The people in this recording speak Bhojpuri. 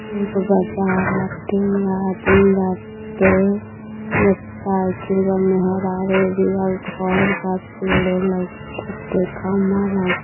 एगो बाजार बाटे। एमें आदमी बाटे। मोटरसाइकिल बा। मेहरारू बिया। घर बा। पेड़ वोड लउकता। खम्बा लउक --